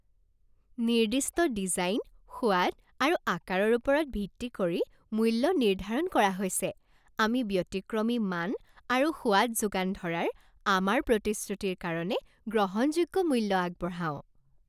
নিৰ্দিষ্ট ডিজাইন, সোৱাদ আৰু আকাৰৰ ওপৰত ভিত্তি কৰি মূল্য নিৰ্ধাৰণ কৰা হৈছে। আমি ব্যতিক্ৰমী মান আৰু সোৱাদ যোগান ধৰাৰ আমাৰ প্ৰতিশ্ৰুতিৰ কাৰণে গ্ৰহণযোগ্য মূল্য আগবঢ়াওঁ।